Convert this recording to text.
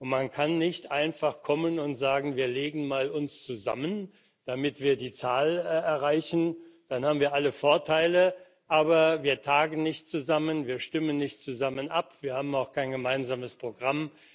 Man kann nicht einfach kommen und sagen Wir legen uns mal zusammen, damit wir die Zahl erreichen, dann haben wir alle Vorteile, aber wir tagen nicht zusammen, wir stimmen nicht zusammen ab, wir haben auch kein gemeinsames Programm.